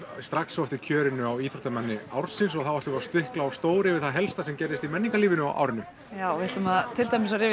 strax á eftir kjörinu á íþróttamanni ársins og þá ætlum við að stikla á stóru yfir það helsta sem gerðist í menningarlífinu á árinu já við ætlum til dæmis að rifja